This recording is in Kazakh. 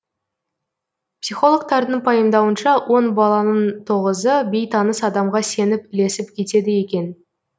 психологтардың пайымдауынша он баланың тоғызы бейтаныс адамға сеніп ілесіп кетеді екен